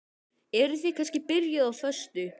Eruð þið kannski byrjuð á föstu?